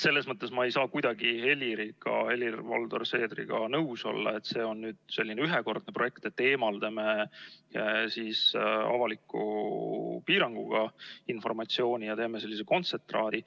Selles mõttes ma ei saa kuidagi Helir-Valdor Seedriga nõus olla, et see on selline ühekordne projekt, et eemaldame avaliku piiranguga informatsiooni ja teeme sellise kontsentraadi.